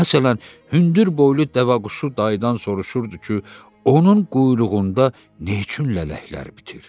Məsələn, hündürboylu dəvəquşu dayıdan soruşurdu ki, onun quyruğunda nə üçün lələklər bitirdi.